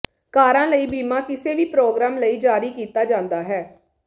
ਕਾਰਾਂ ਲਈ ਬੀਮਾ ਕਿਸੇ ਵੀ ਪ੍ਰੋਗਰਾਮ ਲਈ ਜਾਰੀ ਕੀਤਾ ਜਾਂਦਾ ਹੈ